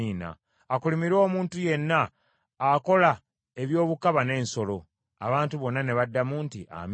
“Akolimirwe omuntu yenna akola ebyobukaba n’ensolo.” Abantu bonna ne baddamu nti, “Amiina.”